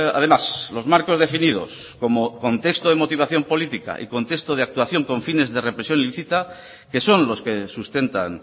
además los marcos definidos como contexto de motivación política y contexto de actuación con fines de represión ilícita que son los que sustentan